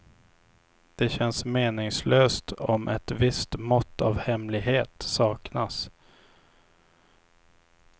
Det känns meningslöst om ett visst mått av hemlighet saknas.